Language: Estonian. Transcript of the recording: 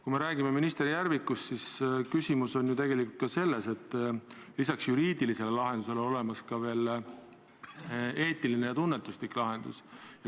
Kui me räägime minister Järvikust, siis küsimus on ju tegelikult ka selles, et lisaks juriidilisele lahendusele on olemas eetiline ja tunnetuslik lahendus.